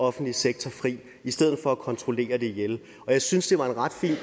offentlige sektor fri i stedet for at kontrollere det ihjel jeg synes det var en ret fin